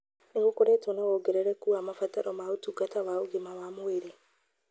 Nĩ gũkoretwo na wongerereku wa mabataro ma ũtungata wa ũgima wa mwĩrĩ